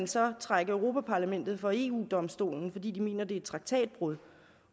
så vil trække europa parlamentet for eu domstolen fordi de mener det er et traktatbrud